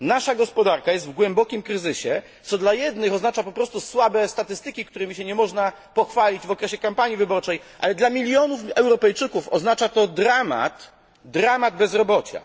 Nasza gospodarka jest w głębokim kryzysie, co dla jednych oznacza po prostu słabe statystyki, którymi się nie można pochwalić w okresie kampanii wyborczej, ale dla milionów Europejczyków oznacza to dramat bezrobocia.